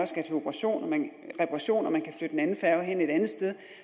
skal til reparation reparation kan flytte en anden færge hen et andet sted